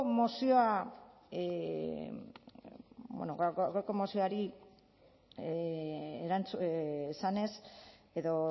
gaurko mozioa esanez edo